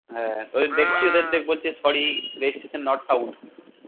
হ্যা ওদের দেখছি ওদের বলছে sorry registration not found